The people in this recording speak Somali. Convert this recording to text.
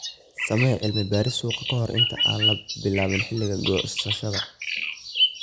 Samee cilmi-baaris suuqa ka hor inta aan la bilaabin xilliga goosashada.